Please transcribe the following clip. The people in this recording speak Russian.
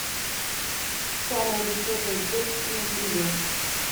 самая высокая девушка на земле